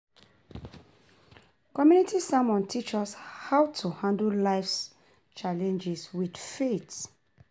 Community sermon teach us how to handle life's challenges with faith.